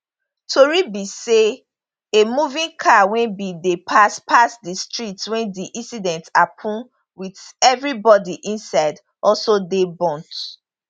tori be say a moving car wey bin dey pass pass di street wen di incident happun wit evribodi inside also dey burnt